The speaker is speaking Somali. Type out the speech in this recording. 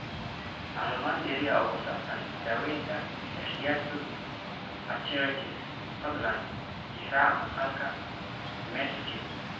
Macluumaad dheeri ah oo ku saabsan daaweynta Takayasu arteritis, fadlan tixraac maqaalka Medscape.